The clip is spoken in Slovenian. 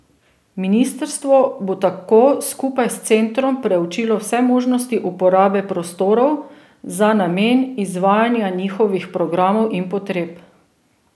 Ministrstvo bo tako skupaj s centrom preučilo vse možnosti uporabe prostorov za namen izvajanja njihovih programov in potreb.